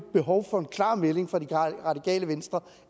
behov for en klar melding fra det radikale venstre